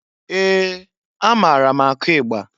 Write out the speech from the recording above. Ee! Amaara m akụ igba.